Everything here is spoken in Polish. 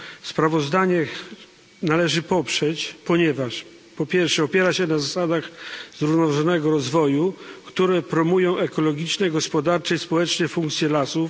Sprawozdanie należy poprzeć, ponieważ po pierwsze, opiera się na zasadach zrównoważonego rozwoju, który promuje ekologiczne, gospodarcze i społeczne funkcje lasów.